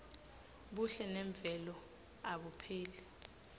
buhle memvelo abupheli